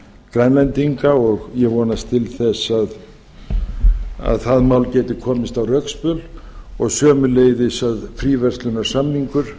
grænlendinga og ég vonast til þess að það mál geti komið á rekspöl og sömuleiðis að fríverslunarsamningur